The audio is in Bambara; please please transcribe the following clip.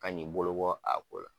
Kan k'i bolo bɔ a ko la.